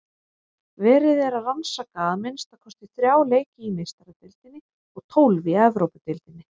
Verið er að rannsaka að minnsta kosti þrjá leiki í Meistaradeildinni og tólf í Evrópudeildinni.